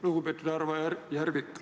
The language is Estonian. Lugupeetud Mart Järvik!